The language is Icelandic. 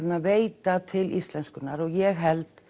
veita til íslenskunnar og ég held